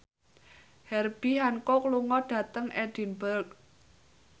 Herbie Hancock lunga dhateng Edinburgh